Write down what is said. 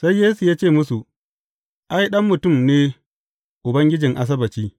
Sai Yesu ya ce musu, Ai, Ɗan Mutum ne Ubangijin Asabbaci.